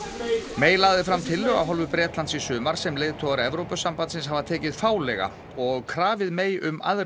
May lagði fram tillögu af hálfu Bretlands í sumar sem leiðtogar Evrópusambandsins hafa tekið fálega og krafið May um aðrar